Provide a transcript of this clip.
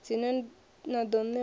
dzine na ḓo ṋeiwa a